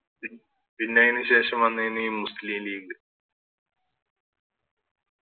പിന്നെ അയിന് വന്നതിനി മുസ്ലിം ലീഗ്